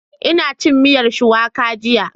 Ina cin miyar Shuwaka jiya